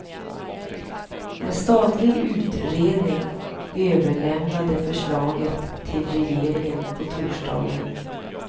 En statlig utredning överlämnade förslaget till regeringen på torsdagen.